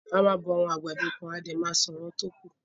A máa bọ àwọn àgbàdo kan a dẹ̀ ma sun àwọn tókù.